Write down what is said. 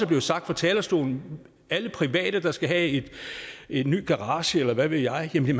blevet sagt fra talerstolen alle private der skal have en ny garage eller hvad ved jeg vil